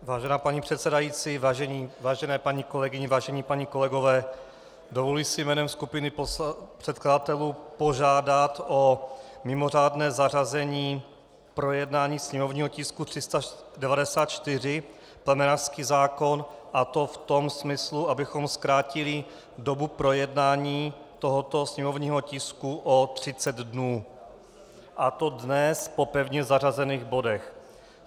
Vážená paní předsedající, vážené paní kolegyně, vážení páni kolegové, dovoluji si jménem skupiny předkladatelů požádat o mimořádné zařazení projednání sněmovního tisku 394, plemenářský zákon, a to v tom smyslu, abychom zkrátili dobu projednání tohoto sněmovního tisku o 30 dnů, a to dnes po pevně zařazených bodech.